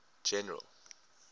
general